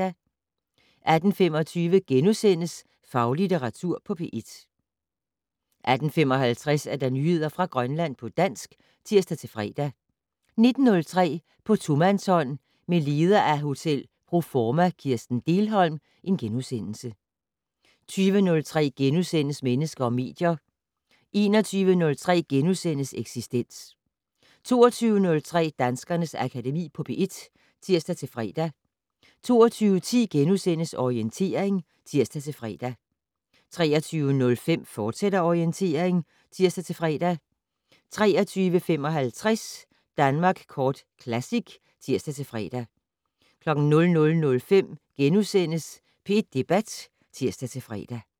18:25: Faglitteratur på P1 * 18:55: Nyheder fra Grønland på dansk (tir-fre) 19:03: På tomandshånd med leder af Hotel Pro Forma Kirsten Dehlholm * 20:03: Mennesker og medier * 21:03: Eksistens * 22:03: Danskernes Akademi på P1 (tir-fre) 22:10: Orientering *(tir-fre) 23:05: Orientering, fortsat (tir-fre) 23:55: Danmark Kort Classic (tir-fre) 00:05: P1 Debat *(tir-fre)